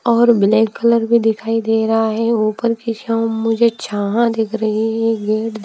और black colour भी दिखाई दे रहा है ऊपर की शाम मुझे छाह दिख रही है गेट --